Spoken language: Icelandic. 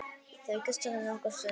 Þau kyssast nokkra stund.